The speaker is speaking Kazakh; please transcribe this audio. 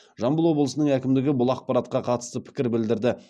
жамбыл облысының әкімдігі бұл ақпаратқа қатысты пікір білдірді